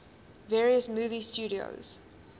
various movie studios